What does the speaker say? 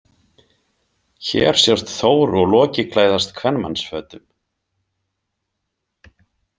Hér sjást Þór og Loki klæðast kvenmannsfötum.